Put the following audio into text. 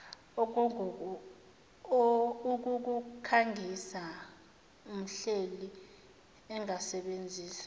ukukukhangisa umhleli angasebenzisa